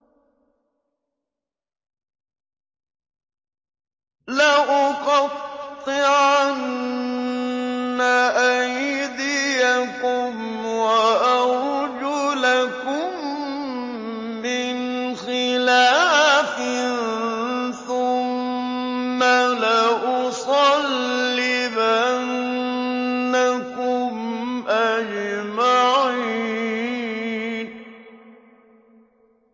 لَأُقَطِّعَنَّ أَيْدِيَكُمْ وَأَرْجُلَكُم مِّنْ خِلَافٍ ثُمَّ لَأُصَلِّبَنَّكُمْ أَجْمَعِينَ